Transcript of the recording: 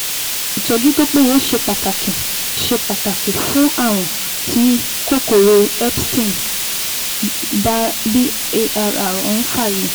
Ìtọ́jú tó péye ṣe pàtàkì ṣe pàtàkì fún ààrùn tí kòkòrò Epstein- Barr ń fà yìí